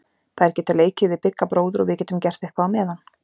Þær geta leikið við Bigga bróður og við getum gert eitthvað á meðan.